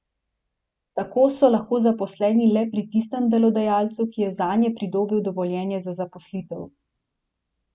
Tako so lahko zaposleni le pri tistem delodajalcu, ki je zanje pridobil dovoljenje za zaposlitev.